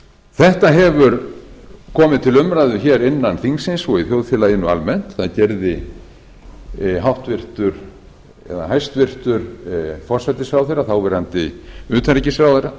þetta hefur komið til umræðu innan þingsins og í þjóðfélaginu almennt það gerði hæstvirtur forsætisráðherra þáverandi utanríkisráðherra